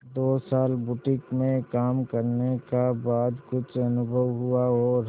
दो साल बुटीक में काम करने का बाद कुछ अनुभव हुआ और